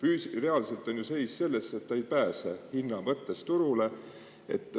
Reaalselt on ju selles, et see ei pääse hinna mõttes turule.